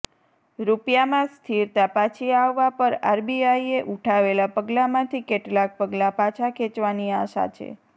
રૂપિયામાં સ્થિરતા પાછી આવવા પર આરબીઆઇએ ઉઠાવેલા પગલામાંથી કેટલાક પગલા પાછા ખેંચવાની આશા છે